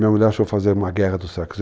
Minha mulher achou fazer uma guerra do sexo.